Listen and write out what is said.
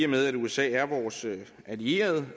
med at usa er vores allierede